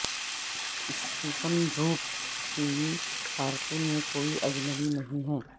Stephen Root T V کارٹونوں میں کوئی اجنبی نہیں ہے